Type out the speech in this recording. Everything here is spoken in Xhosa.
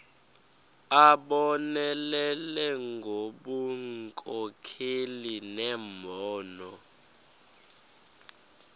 abonelele ngobunkokheli nembono